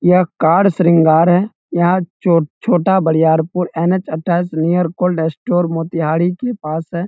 यह card car श्रृंगार है यहां चो छोटा बरियारपुर एन.एच. अट्ठाइस नियर कोल्ड स्टोर मोतिहारी के पास है।